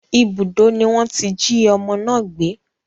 Ibùdó ni wọ́n tí jí ọmọ náà gbé